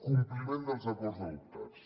compliment dels acords adoptats